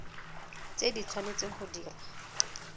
tse di tshwanetseng go dirwa